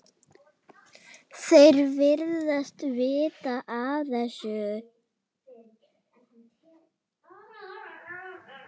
Þeir virðast vita af þessu.